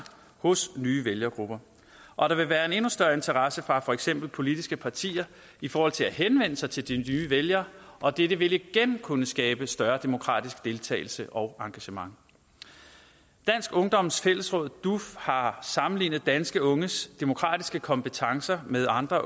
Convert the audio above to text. hos nye vælgergrupper og der vil være en endnu større interesse fra for eksempel politiske partier i forhold til at henvende sig til de nye vælgere og dette vil igen kunne skabe større demokratisk deltagelse og engagement dansk ungdoms fællesråd duf har sammenlignet danske unges demokratiske kompetencer med andre